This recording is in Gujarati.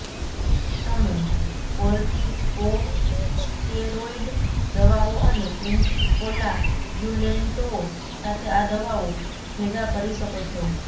તમે કોર્ટીકોસ્ટેરોઇડ દવાઓ અને એન્ટીકોલાગ્યુલેન્ટઓ સાથે આ દવાઓ ભેગા કરી શકો છો